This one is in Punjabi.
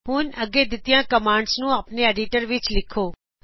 ਹੁਣ ਅੱਗੇ ਦਿੱਤੀਆਂ ਕਮਾਂਡਜ਼ ਨੂੰ ਆਪਣੇ ਐਡੀਟਰ ਵਿੱਚ ਲਿਖੋ